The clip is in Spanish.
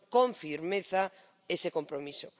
con firmeza ese compromiso.